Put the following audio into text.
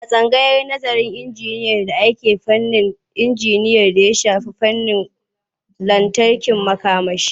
A tsangayar nazarın aikin injiniya ake nazarin fannin injiniyan d aya shafi wutar lantarki da na makamashi.